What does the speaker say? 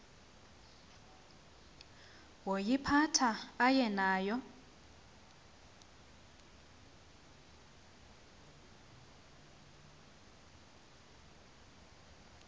woyiphatha aye nayo